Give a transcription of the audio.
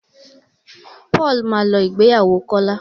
Paul má lọ ìgbéyàwó Kola